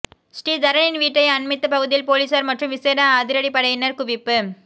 ஸ்ரீதரனின் வீட்டை அண்மித்த பகுதியில் பொலிஸார் மற்றும் விசேட அதிரடிப்படையினர் குவிப்பு